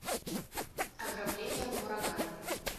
ограбление в ураган